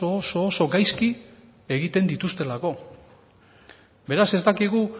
oso oso gaizki egiten dituztelako beraz ez dakigu